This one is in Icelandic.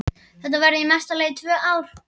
Þetta verða í mesta lagi tvö ár.